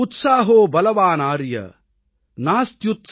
उत्साहो बलवानार्य नास्त्युत्साहात्परं बलम् |